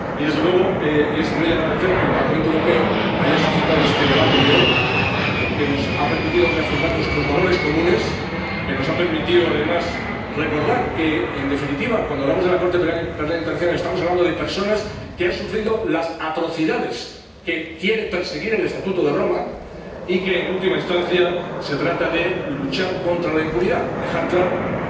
Y, desde luego, es muy de agradecer que el Parlamento Europeo haya planteado este debate de hoy, que nos ha permitido reafirmar nuestros valores comunes, que nos ha permitido además recordar que, en definitiva, cuando hablamos de la Corte Penal Internacional, estamos hablando de personas que han sufrido las atrocidades que quiere perseguir el Estatuto de Roma y que, en última instancia, se trata de luchar contra la impunidad, dejar claro que en el siglo XXI no existe lugar para la impunidad.